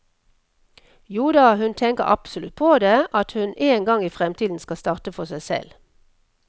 Joda, hun tenker absolutt på det, at hun en gang i fremtiden skal starte for seg selv.